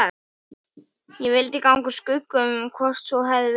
Ég vildi ganga úr skugga um hvort svo hefði verið.